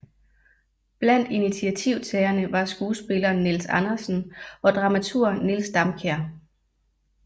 Blandt initiativtagerne var skuespilleren Niels Andersen og dramaturgen Niels Damkjær